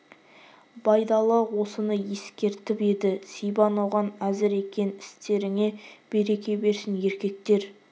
байдалы осыны ескертіп еді сибан оған әзір екен істеріңе береке берсін еркектер